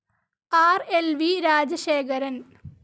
R. L. V Rajasekharan